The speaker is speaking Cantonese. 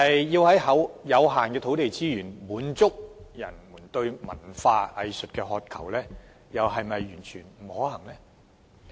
然而，即使土地資源有限，但要滿足人們對於文化藝術的渴求，又是否真的完全不可行？